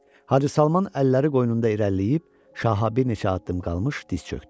Hacı Salman əlləri qoynunda irəliləyib, şaha bir neçə addım qalmış diz çökdü.